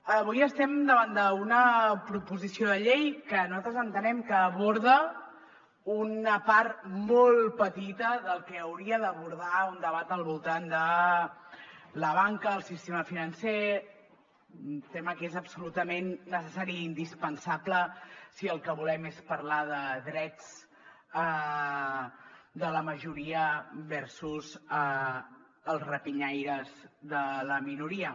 avui estem davant d’una proposició de llei que nosaltres entenem que aborda una part molt petita del que hauria d’abordar un debat al voltant de la banca el sistema financer un tema que és absolutament necessari i indispensable si el que volem és parlar de drets de la majoria versus els rapinyaires de la minoria